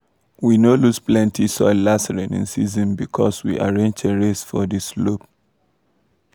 we no lose plenty soil last rainy season because we arrange terrace for di slope.